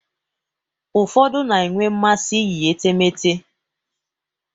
Ụfọdụ na-enwe mmasị iyi etemeete.